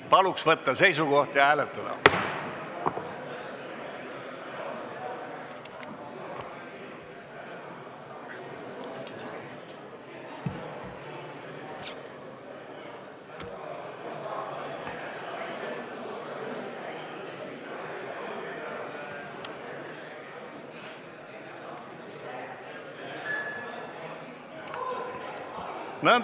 Palun võtta seisukoht ja hääletada!